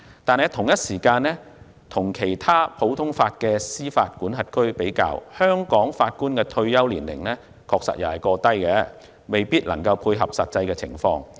與此同時，與其他普通法司法管轄區比較，香港法官的退休年齡確實過低，未必能夠配合實際情況。